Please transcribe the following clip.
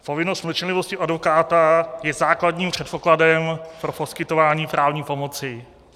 Povinnost mlčenlivosti advokáta je základním předpokladem pro poskytování právní pomoci.